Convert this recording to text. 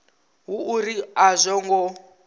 hu uri a zwo ngo